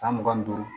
San mugan ni duuru